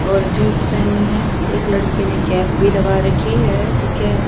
और जींस पेहनी है एक लड़के ने कैप भी लगा रखी है ठीक है।